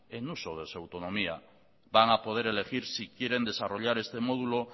en uso de su autonomía van a poder elegir si quieren desarrollar este módulo